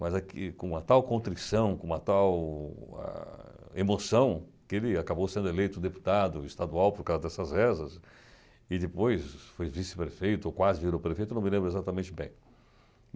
Mas é que com uma tal contrição, com uma tal ah emoção, que ele acabou sendo eleito deputado estadual por causa dessas rezas, e depois foi vice-prefeito, ou quase virou prefeito, eu não me lembro exatamente bem.